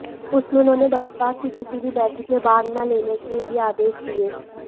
उसमें उन्होंने बसपा की किसी भी बैठक में भाग न लेने के भी आदेश दिए